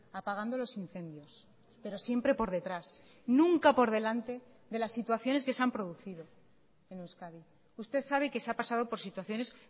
apagando los incendios pero siempre por detrás nunca por delante de las situaciones que se han producido en euskadi usted sabe que se ha pasado por situaciones